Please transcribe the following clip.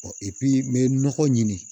n bɛ nɔgɔ ɲini